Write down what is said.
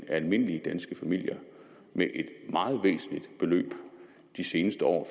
af almindelige danske familier med et meget væsentligt beløb de seneste år